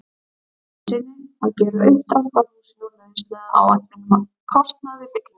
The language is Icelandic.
Ólafssyni að gera uppdrátt að húsinu og lauslega áætlun um kostnað við bygginguna.